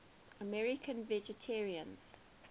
american vegetarians